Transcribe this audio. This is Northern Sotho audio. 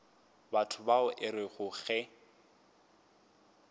batho bao e rego ge